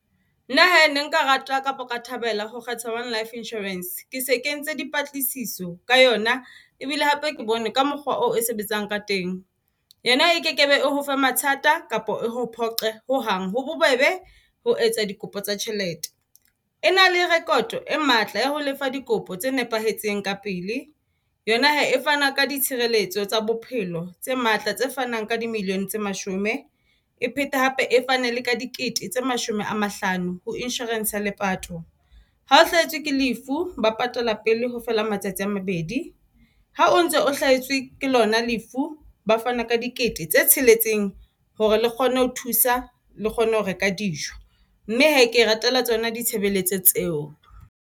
Nna hee ne nka rata kapa nka thabela ho kgetha One Life Insurance. Ke se ke entse di patlisiso ka yona ebile hape ke bone ka mokgwa oo e sebetsang ka teng. Yena e kekebe e hofe mathata kapa e ho phoqe ho hang. Ho bobebe ho etsa dikopo tsa tjhelete.E na le rekoto e matla ya ho lefa dikopo tse nepahetseng ka pele. Yona hee e fana ka ditshireletso tsa bophelo tse matla tse fanang ka di millione tse mashome e phete hape e fane le ka dikete tse mashome a mahlano ho insurance ya lepato. Ha o hlahetswe ke lefu ba patala pele ho feela matsatsi a mabedi, ha o ntse o hlahetswe ke lona lefu. Ba fana ka dikete tse tsheletseng hore le kgone ho thusa le kgone ho reka dijo mme hee ke e ratela tsona ditshebeletso tseo.